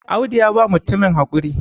Audu ya ba mutumin haƙuri